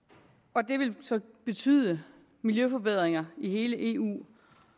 og det vil så betyde miljøforbedringer i hele eu